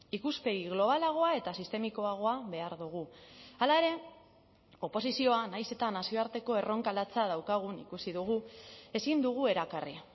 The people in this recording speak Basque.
ikuspegi globalagoa eta sistemikoagoa behar dugu hala ere oposizioa nahiz eta nazioarteko erronka latza daukagun ikusi dugu ezin dugu erakarri